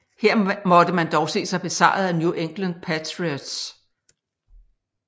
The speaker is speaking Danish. Her måtte man dog se sig besejret af New England Patriots